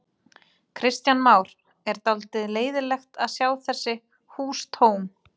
Kristján Már: Er dálítið leiðinlegt að sjá þessi hús tóm?